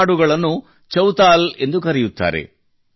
ಈ ಹಾಡುಗಳನ್ನು ಚೌತಾಲ ಎಂದು ಕರೆಯುತ್ತಾರೆ